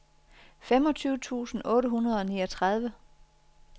femogtyve tusind otte hundrede og niogtredive